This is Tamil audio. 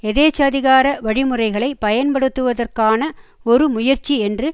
எதேச்சதிகார வழிமுறைகளை பயன்படுத்துவதற்கான ஒரு முயற்சி என்று